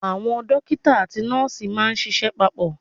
Àwọn Dókítà àti nọ́ọ̀sì máà ń ṣiṣẹ́ papọ̀.